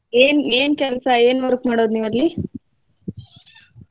ಏನ್ ಏನ್ ಕೆಲ್ಸ ಏನ್ work ಮಾಡೋದ್ ನೀವ್ ಅಲ್ಲಿ?